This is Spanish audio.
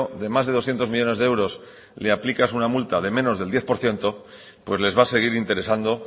de más de doscientos millónes de euros le aplicas una multa de menos del diez por ciento pues les va a seguir interesando